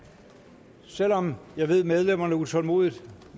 selv om jeg ved at medlemmerne utålmodigt